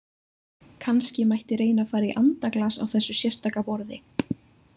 Kannski mætti reyna að fara í andaglas á þessu sérstaka borði!